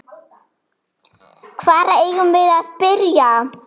Hvar eigum við að byrja?